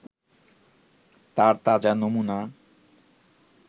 তার তাজা নমুনা